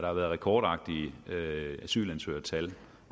har været rekordagtige asylansøgertal